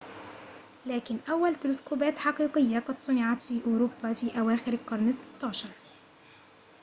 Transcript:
لكن أول تلسكوبات حقيقية قد صُنعت في أوروبا في أواخر القرن ال16